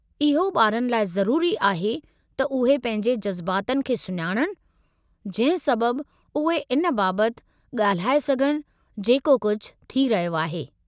इहो ॿारनि लाइ ज़रूरी आहे त उहे पंहिंजे जज़्बातनि खे सुञाणणु, जंहिं सबबु उहे इन बाबतु ॻाल्हाए सघनि जेको कुझु थी रहियो आहे।